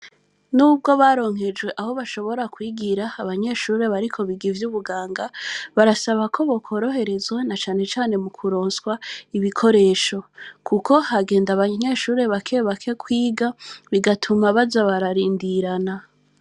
Nubwo baronkejwe aho ndashobora kwigira, abanyeshuri bariko biga ivyubuganga, barasaba ko bokoroherezwa nacane cane mukabariswa Ibikoresho, kuko hahenda abanyeshure bake bake kwiga bigatuma baza bararindirana.